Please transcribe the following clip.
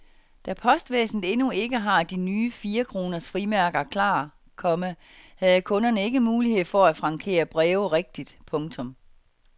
Da postvæsenet endnu ikke har de nye firekroners frimærker klar, komma havde kunderne ikke mulighed for at frankere breve rigtigt. punktum